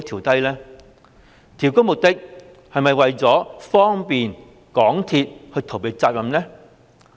調高的目的是否方便港鐵公司逃避責任？